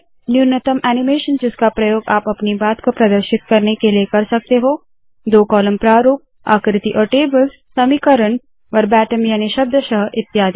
न्यूनतम एनीमेशन जिसका प्रयोग आप अपनी बात को प्रदर्शित करने के लिए कर सकते हो दो कॉलम प्रारूप आकृति और टेबल्स समीकरण वर्बेटिम याने शब्दशः इत्यादि